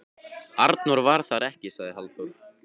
Arnór var þar ekki, sagði Halldór.